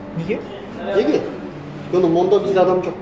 неге неге өйткені мон да бізде адам жоқ